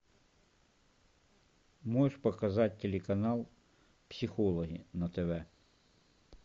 можешь показать телеканал психологи на тв